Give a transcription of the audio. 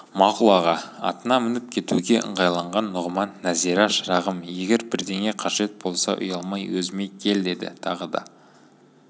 мақұл аға атына мініп кетуге ыңғайланған нұғыман нәзира шырағым егер бірдеңе қажет болса ұялмай өзіме кел деді тағы да